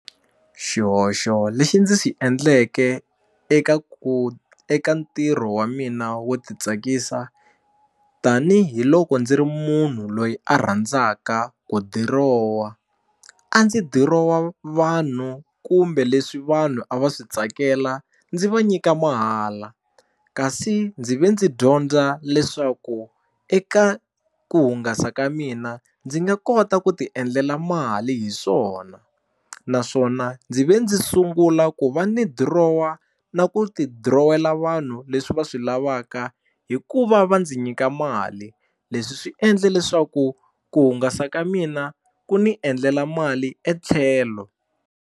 Xihoxo lexi ndzi xi endleke eka ku eka ntirho wa mina wo titsakisa tanihiloko ndzi ri munhu loyi a rhandzaka ku dirowa a ndzi dirowa vanhu kumbe leswi vanhu a va swi tsakela ndzi va nyika mahala kasi ndzi ve ndzi dyondza leswaku eka ku hungasa ka mina ndzi nga kota ku ti endlela mali hi swona naswona ndzi ve ndzi sungula ku va ni dirowa na ku ti dirowela vanhu leswi va swi lavaka hi ku va va ndzi nyika mali leswi swi endle leswaku ku hungasa ka mina ku ni endlela mali etlhelo.